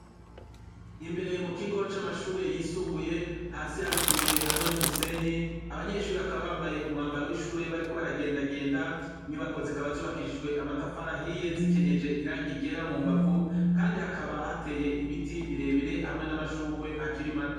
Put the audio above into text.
Imbere mu kigo c'amashure yisumbuye, hasi hari utubuye hamwe n'umusenyi. Abanyeshure bakaba bambaye umwambaro w'ishure bariko baragendagenda. Inyubako zikaba zubakishijwe amatafari ahiye zikenyeje irangi ryera mu mbavu, kandi hakaba hateye ibiti birebire, hamwe n'amashurwe akiri mato.